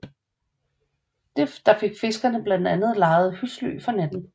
Der fik fiskerne blandt andet lejede husly for natten